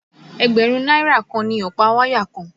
Ẹgbẹ̀rún náírà kan ni ọ̀pá wáyà kan